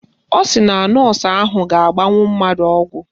Ọ sị na nọọsụ ahụ ga-agbanwu mmadụ ọgwụ